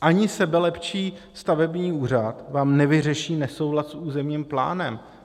Ani sebelepší stavební úřad vám nevyřeší nesouhlas s územním plánem.